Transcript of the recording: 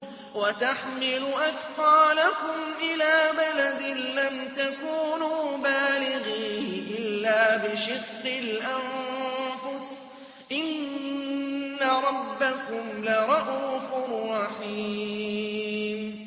وَتَحْمِلُ أَثْقَالَكُمْ إِلَىٰ بَلَدٍ لَّمْ تَكُونُوا بَالِغِيهِ إِلَّا بِشِقِّ الْأَنفُسِ ۚ إِنَّ رَبَّكُمْ لَرَءُوفٌ رَّحِيمٌ